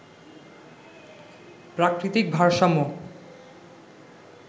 প্রাকৃতিক ভারসাম্য